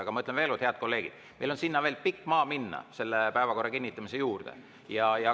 Aga ma ütlen veel kord, head kolleegid, et meil on veel pikk maa minna päevakorra kinnitamise juurde.